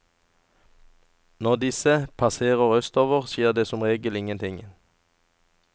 Når disse passerer østover, skjer det som regel ingenting.